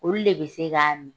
Olu de be se k'a ni.